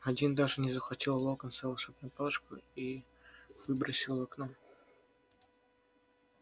один даже не захватил у локонса волшебную палочку и выбросил в окно